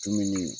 Dumuni